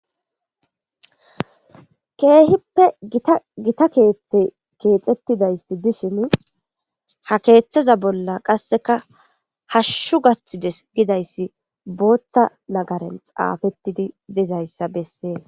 keehippe gitagita keeththe keexettidayssi dishin ha keeththaza bolla qasseka hashshu gaththide gidayssi booththa nagaren xaafettidi dizayssa bessee